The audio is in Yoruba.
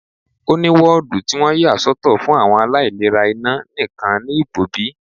Ó ní woodu tí wọ́n yà soto fún àwọn aláìlera iná nìkan ní Igbobi.